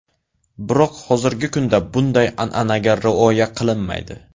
Biroq hozirgi kunda bunday an’anaga rioya qilinmaydi.